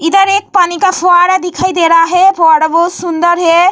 इधर एक पानी का फवारा दिखाई दे रहा है फवारा बहुत सुन्दर है।